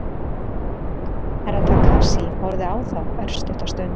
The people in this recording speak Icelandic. Herra Takashi horfði á þá örstutta stund.